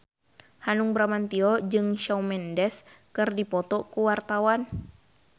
Hanung Bramantyo jeung Shawn Mendes keur dipoto ku wartawan